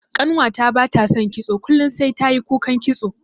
Ƙanwata bata son kitso kullun sai tayi kukan kitso.